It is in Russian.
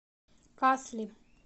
касли